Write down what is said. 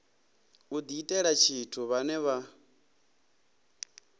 u diitela tshithu vhane vha